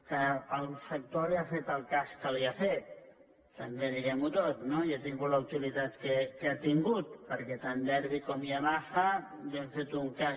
que el sector li ha fet el cas que li ha fet també diguem·ho tot no i ha tingut la utilitat que ha tingut perquè tant derbi com yamaha li han fet un cas